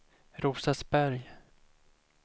Rosersberg